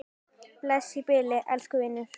Bless í bili, elsku vinur.